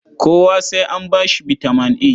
Kowa sai an ba shi bitaman A.